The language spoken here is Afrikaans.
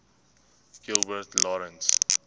gilbert lawrence